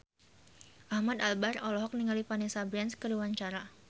Ahmad Albar olohok ningali Vanessa Branch keur diwawancara